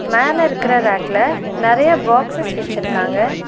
மேல இருக்குற ரேக்ல நெறைய பாக்ஸ்சஸ் வெச்சிருக்காங்க.